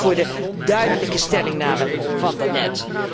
Ik dank haar ook voor de duidelijke stellingname van daarnet.